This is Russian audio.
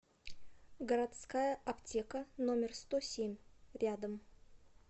городская аптека номер сто семь рядом